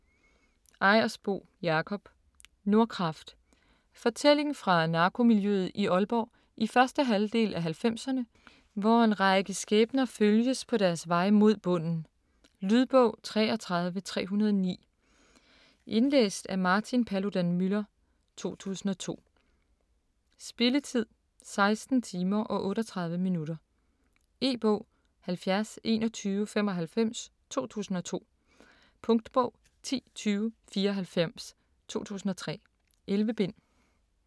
Ejersbo, Jakob: Nordkraft Fortælling fra narkomiljøet i Aalborg i første halvdel af halvfemserne, hvor en række skæbner følges på deres vej mod bunden. Lydbog 33309 Indlæst af Martin Paludan-Müller, 2002. Spilletid: 16 timer, 38 minutter. E-bog 702195 2002. Punktbog 102094 2003. 11 bind.